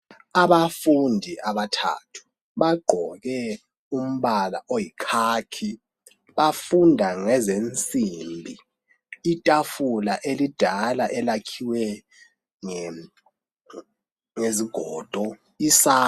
Abafundi abathathu bagqoke umbala oyikhakhi bafunda ngezensimbi itafula elidala elakhiwe ngezigodo.